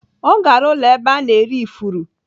Ọ gara ụlọ ebe a na-ere ifuru.